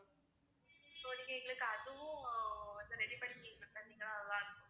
so நீங்க எங்களுக்கு அதுவும் வந்து ready பண்ணி தந்திங்கன்னா நல்லாருக்கும்